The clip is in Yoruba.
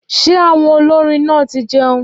Ṣé àwọn olórin náà ti jẹun